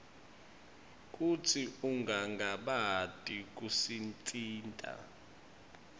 kutsi ungangabati kusitsintsa